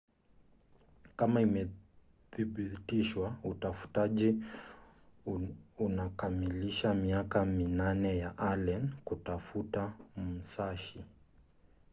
kama imedhibitishwa utafutaji unakamilisha miaka minane ya allen kutafuta musashi